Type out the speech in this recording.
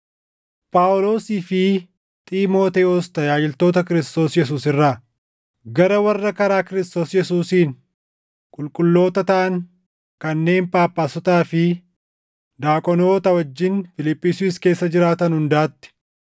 Phaawulosii fi Xiimotewos tajaajiltoota Kiristoos Yesuus irraa, Gara warra karaa Kiristoos Yesuusiin qulqulloota taʼan kanneen Phaaphaasotaa fi daaqonoota wajjin Fiiliphisiyuus keessa jiraatan hundaatti: